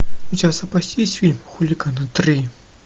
у тебя в запасе есть фильм хулиганы три